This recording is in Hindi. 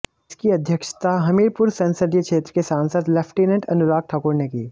इसकी अध्यक्षता हमीरपुर संसदीय क्षेत्र के सांसद लेफ्टिनेंट अनुराग ठाकुर ने की